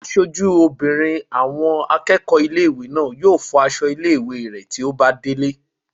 Aṣojú obìnrin àwọn akẹ́kọ̀ọ́ ilé-ìwé náà yóò fọ aṣọ ilé-ìwé rẹ̀ tí ó bá délé